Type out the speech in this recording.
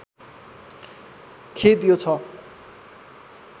खेद यो छ